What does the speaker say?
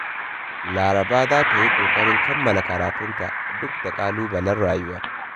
Laraba za ta yi ƙoƙarin kammala karatunta duk da ƙalubalen rayuwa.